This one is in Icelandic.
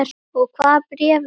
Og hvaða bréf eru það?